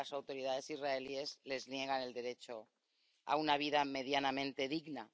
porque las autoridades israelíes les niegan el derecho a una vida medianamente digna.